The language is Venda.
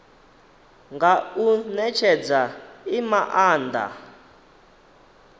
nga u netshedza i maanda